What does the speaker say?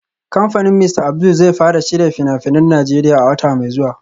Kamfanin Mr Abdul zai fara shirya fina-finan Najeriya a wata mai zuwa